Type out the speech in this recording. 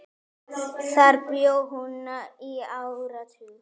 Þar bjó hún í áratug.